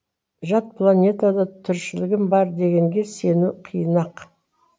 жат планетада тіршілігім бар дегенге сену қиын ақ